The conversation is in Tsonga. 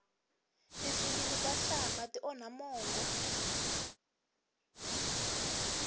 tifilimi ta nhlamba ti onha mongo